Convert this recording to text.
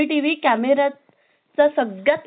चा सर्वात महत्वाचा फायदा म्हणजे